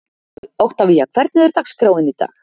Oktavía, hvernig er dagskráin í dag?